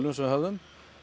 sem við höfðum